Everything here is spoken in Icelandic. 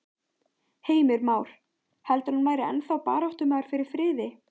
Heimir Már: Heldurðu að hann væri ennþá baráttumaður fyrir friði?